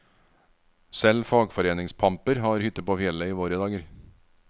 Selv fagforeningspamper har hytte på fjellet i våre dager.